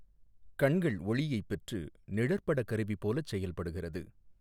கண்கள்ஒளியைப் பெற்று நிழற்படக் கருவி போலச் செயல்படுகிறது.